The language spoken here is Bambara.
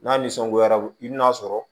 N'a nisɔngoya i bɛn'a sɔrɔ